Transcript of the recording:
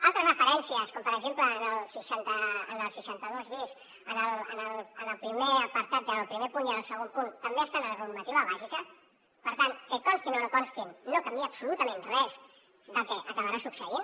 altres referències com per exemple en el seixanta dos bis en el primer apartat en el primer punt i en el segon punt també estan a la normativa bàsica per tant que constin o no constin no canvia absolutament res del que acabarà succeint